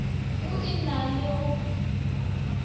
go e na le go